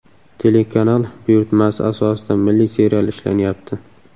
Telekanal buyurtmasi asosida milliy serial ishlanyapti.